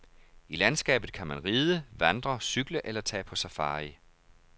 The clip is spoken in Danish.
I landskabet kan man ride, vandre, cykle eller tage på safari.